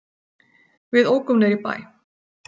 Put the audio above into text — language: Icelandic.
Við ókum niður í bæ.